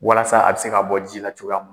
Walasa a bɛ se ka bɔ ji la cogoya min na.